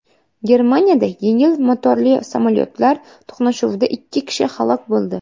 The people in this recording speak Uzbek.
Germaniyada yengil motorli samolyotlar to‘qnashuvida ikki kishi halok bo‘ldi.